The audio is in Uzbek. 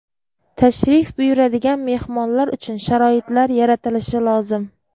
Tashrif buyuradigan mehmonlar uchun sharoitlar yaratilishi lozim.